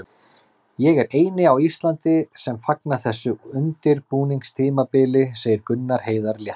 Ég er eini á Íslandi sem fagna þessu undirbúningstímabili, segir Gunnar Heiðar léttur.